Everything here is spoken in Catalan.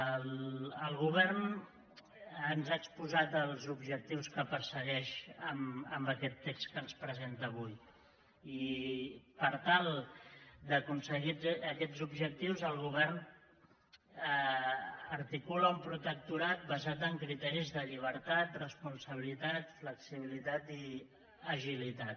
el govern ens ha exposat els objectius que persegueix amb aquest text que ens presenta avui i per tal d’aconseguir aquests objectius el govern articula un protectorat basat en criteris de llibertat responsabilitat flexibilitat i agilitat